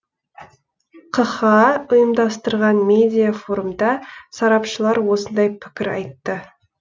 қха ұйымдастырған медиа форумда сарапшылар осындай пікір айтты